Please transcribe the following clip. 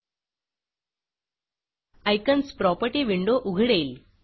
icons property window उघडेल